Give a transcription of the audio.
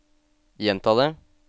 gjenta det